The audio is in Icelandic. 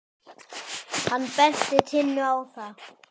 Hann benti Tinnu á það.